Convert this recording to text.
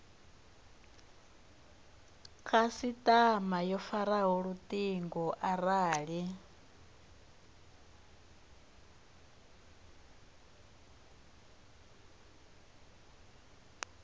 khasitama yo faraho lutingo arali